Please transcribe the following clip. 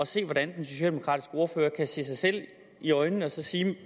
se hvordan den socialdemokratiske ordfører kan se sig selv i øjnene